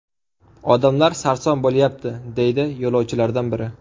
Odamlar sarson bo‘lyapti”, deydi yo‘lovchilardan biri.